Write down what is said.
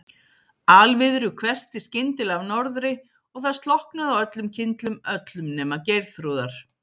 Alviðru hvessti skyndilega af norðri og það slokknaði á öllum kyndlum, öllum nema Geirþrúðar.